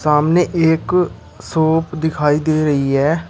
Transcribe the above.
सामने एक शॉप दिखाई दे रही है।